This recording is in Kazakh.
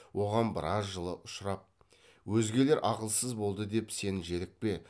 оған біраз жылы ұшырап өзгелер ақылсыз болды деп сен желікпе